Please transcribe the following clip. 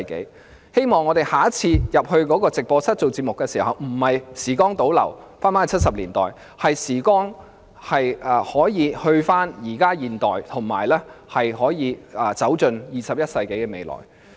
我希望下次當我們進入直播室出席節目時，不會像時光倒流回到1970年代般，而是會返回現代，並步向21世紀的未來。